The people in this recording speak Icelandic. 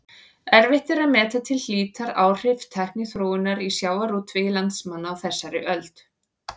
Erfitt er að meta til hlítar áhrif tækniþróunar á sjávarútveg landsmanna á þessari öld.